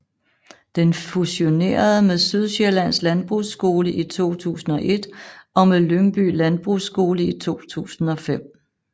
Den fusionerede med Sydsjællands Landbrugsskole i 2001 og med Lyngby Landbrugsskole i 2005